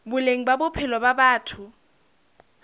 boleng ba bophelo ba batho